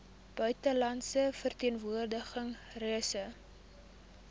buitelandse verteenwoordiging reise